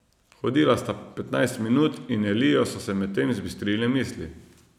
Hodila sta petnajst minut in Eliju so se medtem zbistrile misli.